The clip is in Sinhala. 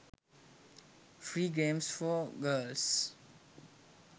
free games for girls